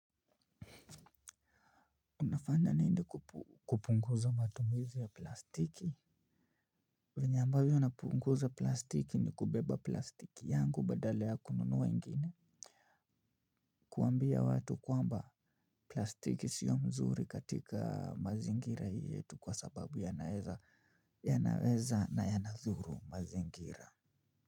Unafanya nini kupunguza matumizi ya plastiki? Venye ambavyo napunguza plastiki ni kubeba plastiki yangu badala ya kununua ingine. Kuambia watu kwamba plastiki sio mzuri katika mazingira hii yetu kwa sababu yanaeza na yanadhuru mazingira.